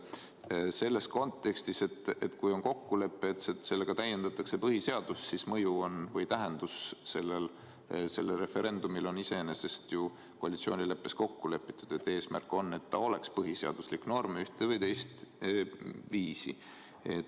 Sest selles kontekstis, et kui on kokkulepe, et sellega täiendatakse põhiseadust, siis on selle referendumi tähendus iseenesest ju koalitsioonileppes kokku lepitud, et eesmärk on, et ta oleks põhiseaduslik norm ühte või teist viisi.